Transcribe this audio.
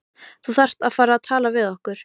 Þú þarft bara að tala við okkur.